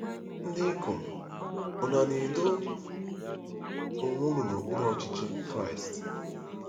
Ndị ikom, Ùnu na-edo onwe unu n'okpuru Ọchịchị Kraịst?